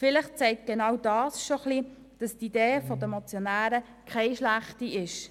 Vielleicht zeigt dies gerade auf, dass die Idee der Motionäre keine schlechte ist.